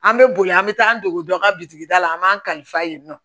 An bɛ boli an bɛ taa an dego dɔ ka bitigi da la an b'an kalifa yen nɔ